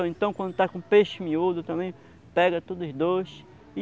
Ou então, quando está com peixe miúdo, também pega todos os dois. E